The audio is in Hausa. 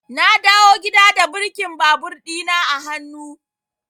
Na dawo gida da birkin babur ɗina a hannu.